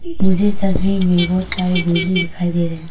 मुझे तस्वीर में बहुत सारे बिल्डिंग दिखाई दे रहे हैं।